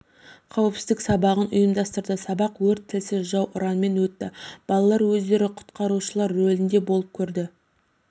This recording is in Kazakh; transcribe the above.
қауіпсіздік сабағын ұйымдастырды сабақ өрт тілсіз жау ұранымен өтті балалар өздері құтқарушылар рөлінде болып көрді